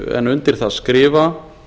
en undir það skrifa